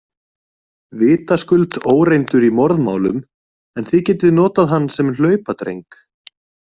Vitaskuld óreyndur í morðmálum en þið getið notað hann sem hlaupadreng.